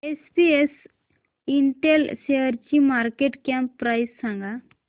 SPS Intel शेअरची market cap price सांगा